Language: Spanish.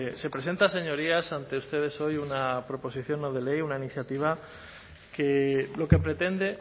se presenta señorías ante ustedes hoy una proposición no de ley una iniciativa que lo que pretende